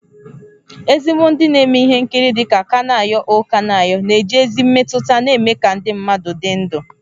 Ezigbo ndị na-eme ihe nkiri dị ka Kanayo O Kanayo na-eji ezi mmetụta na-eme ka ndị mmadụ dị ndụ